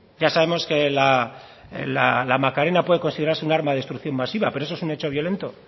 ya sabemos que la macarena puede considerarse un arma de destrucción masiva pero eso es un hecho violento